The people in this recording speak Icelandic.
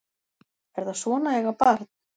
Er það svona að eiga barn?